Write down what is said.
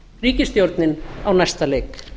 ríkisstjórnin á næsta leik